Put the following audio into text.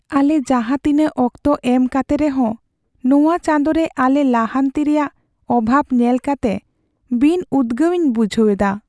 ᱟᱞᱮ ᱡᱟᱦᱟᱸ ᱛᱤᱱᱟᱹᱜ ᱚᱠᱛᱚ ᱮᱢ ᱠᱟᱛᱮ ᱨᱮᱦᱚᱸ, ᱱᱚᱶᱟ ᱪᱟᱸᱫᱚ ᱨᱮ ᱟᱞᱮ ᱞᱟᱦᱟᱱᱛᱤ ᱨᱮᱭᱟᱜ ᱚᱵᱷᱟᱵ ᱧᱮᱞ ᱠᱟᱛᱮ ᱵᱤᱱᱼᱩᱫᱜᱟᱹᱣᱤᱧ ᱵᱩᱡᱷᱟᱹᱣ ᱮᱫᱟ ᱾